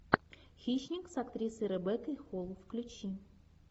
хищник с актрисой ребеккой холл включи